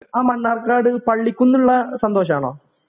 ആ മണ്ണാർക്കാട് പള്ളിക്കുന്നുള്ള സന്തോഷാണോ